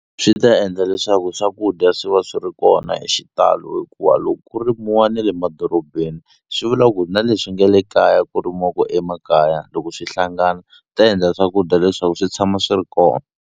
Swi ta endla leswaku swakudya swi va swi ri kona hi xitalo hikuva loko ku rimiwa ni le madorobeni swi vula ku na leswi nge le kaya ku rimiwaku emakaya loko swi hlangana ta endla swakudya leswaku swi tshama swi ri kona.